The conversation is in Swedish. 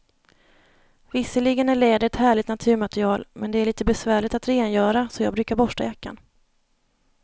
Visserligen är läder ett härligt naturmaterial, men det är lite besvärligt att rengöra, så jag brukar borsta jackan.